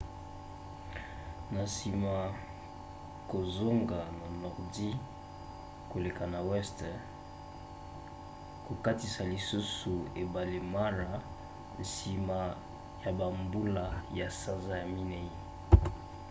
na nsima kozonga na nordi koleka na weste kokatisa lisusu ebale mara nsima ya bambula ya sanza ya minei